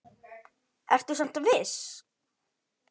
Ertu samt viss?